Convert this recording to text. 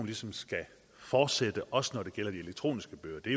ligesom skal fortsætte også når det gælder de elektroniske bøger det